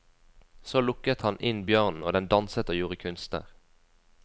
Så lukket han inn bjørnen, og den danset og gjorde kunster.